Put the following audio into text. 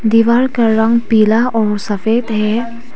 दीवार का रंग पीला और सफेद है।